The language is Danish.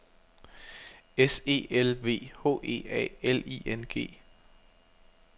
S E L V H E A L I N G